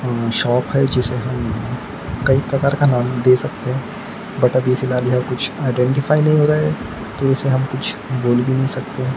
Shop है जिसे हम कई प्रकार का नाम दे सकते हैं बट अभी फिलहाल यह कुछ आइडेंटिफाई नहीं हो रहा तो इसे हम कुछ बोल भी नहीं सकते हैं।